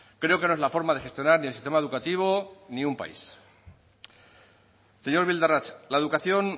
creo que no es la forma de gestionar ni el sistema educativo ni un país señor bildarratz la educación